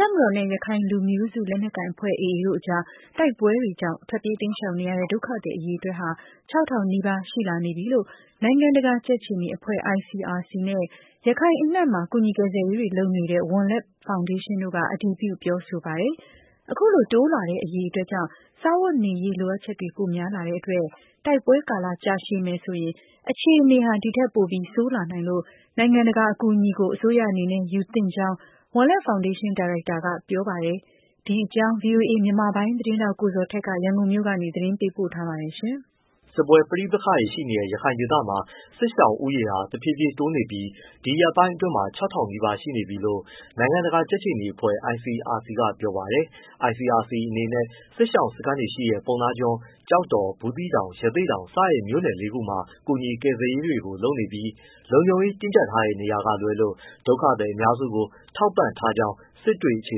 တပ်မတော်နဲ့ ရခိုင်လူမျိုးစုလက်နက်ကိုင်အဖွဲ့ AA တို့ကြား တိုက်ပွဲတွေကြောင့် ထွက်ပြေးတိမ်းရှောင်နေရတဲ့ ဒုက္ခသည်အရေအတွက်ဟာ ၆၀၀၀ ထိ ရှိလာ နေပြီလို့ နိုင်ငံတကာကြက်ခြေနီအဖွဲ့ ICRC နဲ့ ရခိုင်အနှံ့မှာ ကူညီကယ်ဆယ်ရေးတွေ လုပ်နေတဲ့ ဝံလက်ဖောင်ဒေးရှင်း တို့က အတည်ပြုပြောဆိုပါတယ်။ အခုလို တိုးလာတဲ့ အရေ အတွက် ကြောင့် စား၊ ဝတ်၊ နေရေး လိုအပ်ချက်တွေပိုများလာတဲ့အတွက် တိုက်ပွဲ ကာလကြာရှည်မယ်ဆိုရင် အခြေအနေဟာ ဒီထက်ပိုပြီး ဆိုးလာနိုင် လို့ နိုင်ငံတကာ ရဲ့ အကူအညီ ကို အစိုးရအနေနဲ့ယူသင့်ကြောင်း ဝံလက်ဖောင်ဒေးရှင်း ဒါရိုက်တာ ကပြောပါတယ်။ ဒီအကြောင်း ဗွီအိုအေ မြန်မာပိုင်း သတင်းထောက် ကိုဇော်ထက် ရန်ကုန် ကနေပေးပို့ ထားပါတယ်။ စစ်ပွဲပဋိပက္ခ ရှိနေတဲ့ ရခိုင်ဒေသမှာ စစ်ရှောင်ဦးရေဟာ တဖြည်းဖြည်းတိုးနေပြီး ဒီရက်ပိုင်း အတွင်းမှာ ၆၀၀၀ နီးပါးရှိနေပြီလို့ နိုင်ငံတကာကြက်ခြေနီအဖွဲ့ ICRC ကပြောပါ တယ်။ ICRC အနေ နဲ့ စစ်ရှောင်စခန်းတွေရှိတဲ့ ပုဏ္ဏားကျွန်း၊ ကျောက်တော်၊ ဘူးသီးတောင်၊ ရသေ့တောင် စတဲ့မြို့နယ်လေးခုမှာ ကူညီ ကယ်ဆယ်ရေးတွေလုပ်နေပြီး လုံခြုံရေးတင်းကျပ်ထားတဲ့နေရာကလွဲလို့ ဒုက္ခသည်အများစုကို ထောက်ပံ့ထားကြောင်း စစ်တွေအခြေ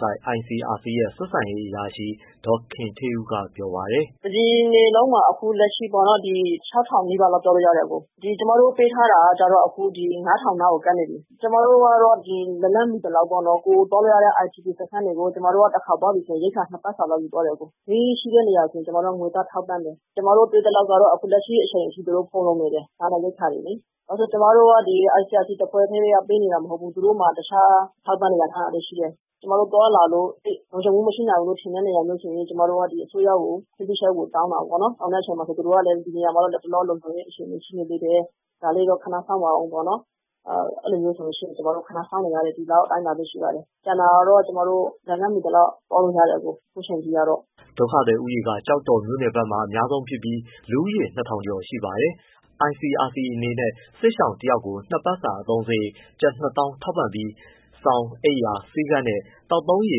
စိုက် ICRC ရဲ့ ဆက်ဆံရေးအရာရှိ ဒေါ်ခင်ဌေးဦးက ပြောပါတယ်။ “တစ်ပြည်နယ်လုံးမှာ အခုလက်ရှိပေါ့နော် ၆၀၀၀ နီးပါးလောက်ပြောလို့ရတယ်။ အခု ကျွန်မတို့ ပေးထားတာကျတော့ ၅၀၀၀ နားကိုကပ်နေပြီ။ ကျွန်မတို့ ကတော့ လက်လှမ်း မီသလောက်ပေါ့နော် ကိုယ်သွားလို့ရတဲ့ IDP စခန်းတွေဆီကို တစ်ခါ သွားပြီဆိုရင် ရိက္ခာ ၂ပတ်စာယူသွားတယ်။ ဈေးရှိတဲ့ နေရာဆိုရင် ကျွန်မတို့က ငွေသားထောက်ပံ့ တယ်။ ကျွန်မတို့တွေ့သလောက်ကတော့ လက်ရှိ အချိန် အထိ သူတို့ ဖူလုံနေတယ် စားနပ်ရိက္ခာတွေလေ။ ဘာဖြစ်လို့လဲဆိုတော့ ကျွန်မတို့ ICRC တစ်ဖွဲ့ တည်း ကပေးနေတာမဟုတ်ဘူး။ သူတို့မှာ တခြားအထောက်အပံ့တွေ ရထားတာ ရှိတယ်။ ကျွန်မတို့ သွားလာလို့ သိပ်လုံခြုံမှုမရှိဘူးထင်တဲ့ နေရာမျိုးဆိုရင် ကျွန်မတို့က အစိုးရ ကိုခွင့်ပြုချက်ကို တောင်းတာပေါ့နော်။ သူတို့ကလည်း လတ်တလော ဒီနေရာမှာ လုံခြုံရေး အခြေအနေရှိနေသေးတယ် ဒါလေးတော့ ခဏစောင့်ပါဦးပေါ့နော်။ အဲလိုမျိုး ဆိုရင် ကျွန်မတို့ ခဏစောင့်နေရတယ်၊ ဒီလောက်အတိုင်းအတာပဲ ရှိပါတယ်။ ကျန်တာ ကတော့ ကျွန်မတို့ လက်လှမ်းမီသလောက် သွားလို့ရတယ် အခု အချိန်အထိကတော့။” ဒုက္ခသည်ဦးရေ က ကျောက်တော်မြို့နယ်ဘက်မှာ အများဆုံးဖြစ်ပြီး လူဦးရေ ၂၀၀၀ ကျော် ရှိပါတယ်။ ICRCအနေနဲ့ စစ်ဘေးရှောင် တစ်ယောက်ကို တစ်ပတ်စာ အသုံးစရိတ် ကျပ်၂၀၀၀၀ ထောက်ပံ့ပြီး စောင်၊ အိပ်ယာ၊ ဆေးခန်းနဲ့ သောက်သုံးရေ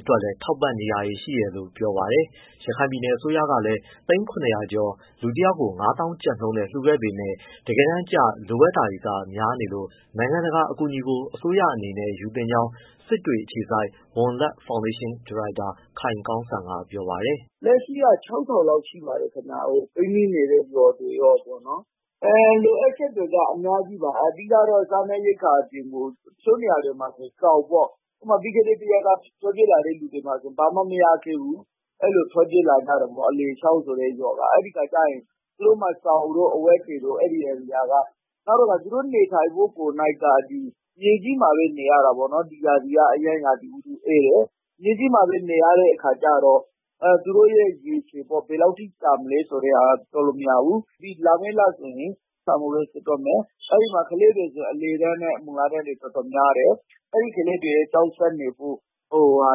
အတွက်လည်းထောက်ပံ့ နေတာတွေ ရှိတယ်လို့ ပြောပါတယ်။ ရခိုင်ပြည်နယ် အစိုးရ ကလည်း သိန်း ၇၀၀ ကျော်၊ လူတစ်ယောက်ကို ၅ သောင်းကျပ်နှုန်းနဲ့လှူခဲ့ပေမဲ့ တကယ်တမ်း ကျ လိုအပ်ချက်တွေ များလို့ နိုင်ငံတကာရဲ့အကူအညီကို အစိုးရအနေနဲ့ ယူသင့်ကြောင်း စစ်တွေအခြေစိုက် ဝံလက်ဖောင်ဒေးရှင်း (Wan Lark Foundation) ဒါရိုက်တာ ခိုင်ကောင်းစံက ပြောပါတယ်။ “လက်ရှိက ၆၀၀၀ လောက်ရှိတယ် ပိတ်မိနေတဲ့ရွာတွေရော လိုအပ်ချက်တွေ က အများကြီးပါ။ အဓိကစားနပ်ရိက္ခာအပြင်ကို တချို့နေရာတွေမှာဆိုရင် စောင်ပေါ့ ပြီးခဲ့တဲ့ တစ်ရက်က ထွက်ပြေးလာတဲ့သူတွေမှာဆိုရင် ဘာမှမရခဲ့ဘူး အဲဒီလို ထွက်ပြေး လာခဲ့ရ တယ်ပေါ့။ သူတို့မှာစောင်တို့ အဝတ်တွေတို့။ သူတို့နေထိုင်မှုကိုနှိုက်က မြေကြီးမှာ ပဲနေရ တာပေါ့နော်။ ဒီရာသီက အရမ်းရာသီဥတုအေးတယ်။ မြေကြီးမှာပဲ နေရတဲ့အခါကျတော့ သူတို့ရဲ့ ရည်ရှည်ပေါ့ ဘယ်လောက်ထိကြာမလဲဆိုတာ ပြောလို့မရဘူး။ လာမယ့် လ ဆိုရင် စာမေးပွဲစစ်တော့မယ် အဲဒီမှာဆိုရင် ကလေးတွေ အလယ်တန်းနဲ့ မူလတန်းတွေ တော်တော် များတယ်။ အဲဒီကလေးတွေကျောင်းဆက်နေဖို့လိုအ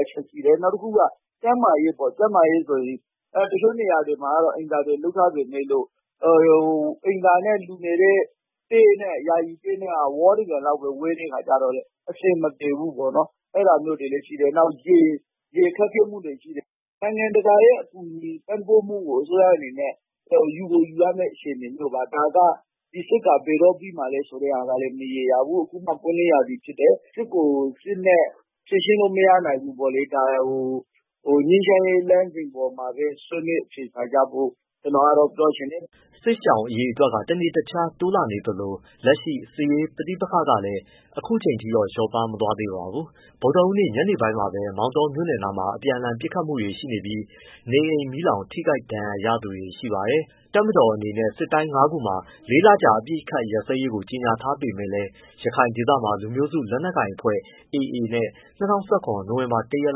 ပ်ချက်ရှိတယ်။ နောက်တစ်ခု က ကျန်းမာရေးဆိုရင် တချို့နေရာတွေမှာကတော့ အိမ်သာတွေ လုပ်ထားပေမဲ့ လို့ အိမ်သာနဲ့ ယာယီတဲနဲ့ကဝါးတစ်ပြန်လောက်ပဲ ဝေးတဲ့အခါကျတော့ အဆင် မပြေဘူး ပေါ့နော်။ အဲဒါမျိုးနေတွေရှိတယ်။ ရေခက်ခဲမှုတွေရှိတယ်။ နိုင်ငံတကာ ရဲ့ ပံ့ပိုးမှုကို အစိုးရအနေနဲ့ ယူကိုယူရမယ့်အခြေအနေမျိုးပါ ဒါကဒီစစ်က ဘယ်တော့ပြီးမယ် ဆိုတာမရေရာဘူး။ အခုမှ ပွင့်လင်းရာသီဖြစ်တယ် စစ်ကို စစ်နဲ့ဖြေရှင်း လို့မရနိုင်ဘူးပေါ့နော် ငြိမ်းချမ်းရေးလမ်းစဉ်အပေါ်မှာပဲ ဆွေးနွေး အဖြေရှာ ကြဖို့ ကျွန်တော်ကတော့ ပြောချင်တယ်။” စစ်ရှောင်ဒုက္ခသည် အရေအတွက် တနေ့တခြား တိုးလာနေသလို လက်ရှိ စစ်ရေး ပဋိပက္ခ ကလည်း အခုချိန်ထိတော့ လျော့ပါးမသွားသေးပါဘူး။ ဗုဒ္ဓဟူးနေ့ ညနေပိုင်းမှာပဲ မောင်တောမြို့နယ်နားမှာ အပြန်အလှန်ပစ်ခတ်မှုတွေရှိပြီး နေအိမ် မီးလောင်၊ ထိခိုက်ဒဏ်ရရတဲ့သူတွေရှိပါတယ်။ တပ်မတော် အနေနဲ့ စစ်တိုင်း ငါးခုမှာ လေးလကြာအပစ်အခတ်ရပ်စဲရေး ကြေညာထားပေမဲ့လည်း ရခိုင်ဒေသမှာ လူမျိုးစု လက်နက်ကိုင်အဖွဲ့ AA နဲ့ ၂၀၁၇ နိုဝင်ဘာ ၁ ရက်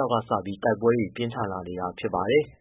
လောက်ကစပြီး တိုက်ပွဲတွေ ပြင်းထန် လာနေတာဖြစ်ပါတယ်။